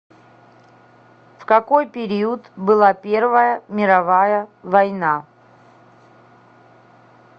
в какой период была первая мировая война